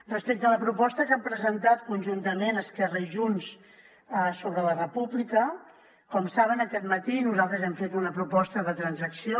respecte a la proposta que han presentat conjuntament esquerra i junts sobre la república com saben aquest matí nosaltres hem fet una proposta de transacció